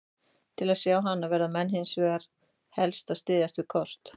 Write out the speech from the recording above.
Til að sjá hana verða menn hins vegar helst að styðjast við kort.